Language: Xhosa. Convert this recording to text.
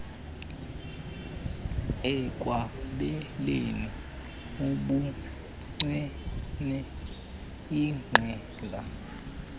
ekwabeleni ubuncwane igqala